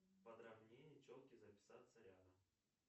подравнение челки записаться рядом